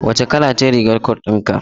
Wace kala ce rigar cot din ka?